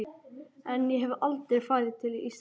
En ég hef aldrei farið til Ísraels.